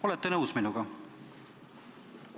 Olete nõus minuga?